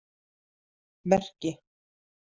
Merki